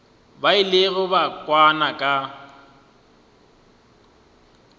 ba ilego ba kwana ka